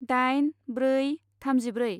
दाइन ब्रै थामजिब्रै